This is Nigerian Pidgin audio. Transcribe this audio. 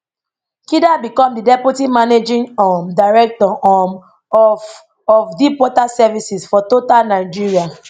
kida become di deputy managing um director um of of deep water services for total nigeria